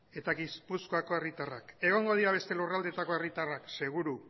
eta gipuzkoako herritarrak egongo dira beste lurraldetako herritarrak seguru